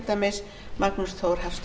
að magnús frá